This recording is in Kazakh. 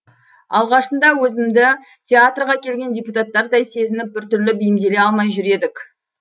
алғашында өзімізді театрға келген депутаттардай сезініп біртүрлі бейімделе алмай жүр едік